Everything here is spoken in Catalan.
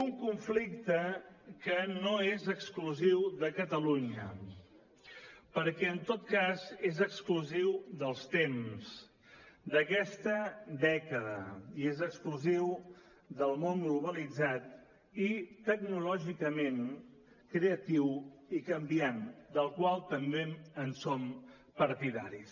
un conflicte que no és exclusiu de catalunya perquè en tot cas és exclusiu dels temps d’aquesta dècada i és exclusiu del món globalitzat i tecnològicament creatiu i canviant del qual també som partidaris